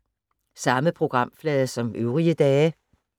Samme programflade som øvrige dage